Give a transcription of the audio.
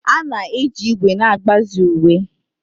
A na-eji ígwè na-agbazi uwe.